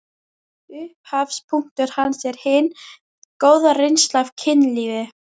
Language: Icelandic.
Upphafspunktur hans er hin góða reynsla af kynlífi.